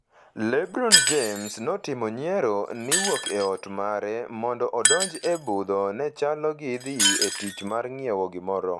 LeBron James notimo nyiero ni wuok e ot mare mondo odonji e budho ne chalo gi dhi e tich mar ng’iewo gimoro.